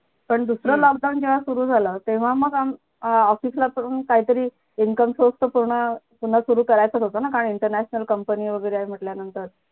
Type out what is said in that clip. पण दुसरं lockdown जेव्हा सुरझाल तेव्हा मग आमचं अं office ला करून कायतरी income source तर पूर्ण पुन्हा सुरु करायचाच होता ना काय international company वैगरे आहे म्हंटल्यानंतर